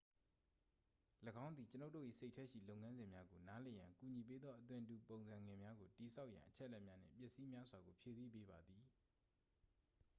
၎င်းသည် ကျွန်ုပ်တို့၏စိတ်ထဲရှိလုပ်ငန်းစဉ်များကိုနားလည်ရန်ကူညီပေးသော အသွင်တူပုံစံငယ်များကိုတည်ဆောက်ရန် အချက်အလက်များနှင့် ပစ္စည်းများစွာကို ဖြည့်ဆည်းပေးပါသည်